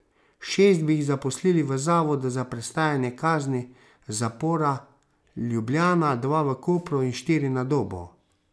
Šest bi jih zaposlili v Zavodu za prestajanje kazni zapora Ljubljana, dva v Kopru in štiri na Dobu.